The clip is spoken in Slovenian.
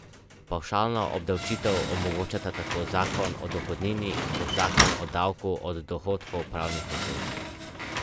Bližje ko je predmet, boljša bo vaja.